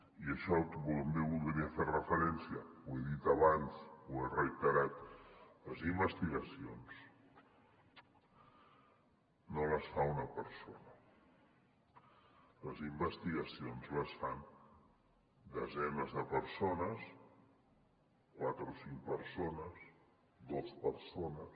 i a això també hi voldria fer referència ho he dit abans ho he reiterat les investigacions no les fa una persona les investigacions les fan desenes de persones quatre o cinc persones dos persones